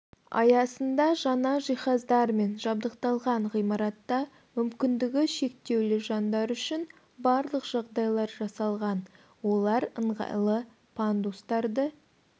аясында жаңа жиһаздармен жабдықталған ғимаратта мүмкіндігі шектеулі жандар үшін барлық жағдайлар жасалған олар ыңғайлы пандустарды